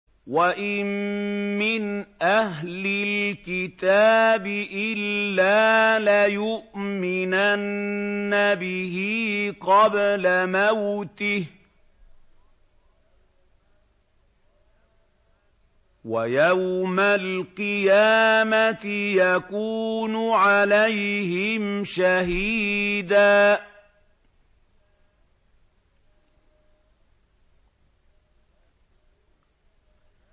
وَإِن مِّنْ أَهْلِ الْكِتَابِ إِلَّا لَيُؤْمِنَنَّ بِهِ قَبْلَ مَوْتِهِ ۖ وَيَوْمَ الْقِيَامَةِ يَكُونُ عَلَيْهِمْ شَهِيدًا